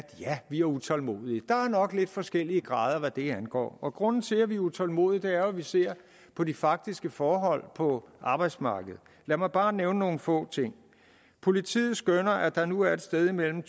ja vi er utålmodige er nok lidt forskellige grader hvad det angår grunden til at vi er utålmodige er jo at vi ser på de faktiske forhold på arbejdsmarkedet lad mig bare nævne nogle få ting politiet skønner at der nu er et sted imellem